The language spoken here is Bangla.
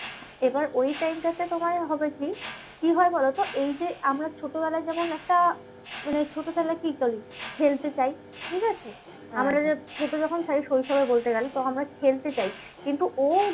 এবার ওই time টা তে তোমার হবে কি? কি হয় বলোতো? এই যে আমার ছোটবেলায় যেমন একটা মানে ছোট ছেলে কি করে? খেলতে চায়, ঠিকাছে? ছোট যখন প্রায় শৈশবও বলতে গেলে তখন আমরা খেলতে চাইছি কিন্তু ও